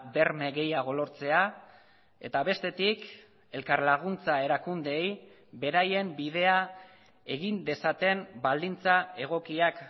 berme gehiago lortzea eta bestetik elkarlaguntza erakundeei beraien bidea egin dezaten baldintza egokiak